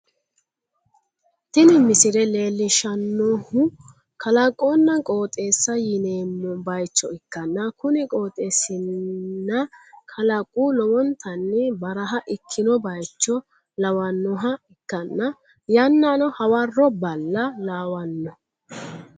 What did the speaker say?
Tini misile leellishshannohu kalaqonna qooxeessa yineemmo bayicho ikkanna, kuni qooxeessinna kalaqu lowontanni baraha ikkino bayicho lawannoha ikkanna, yannano hawarro balla lawanno.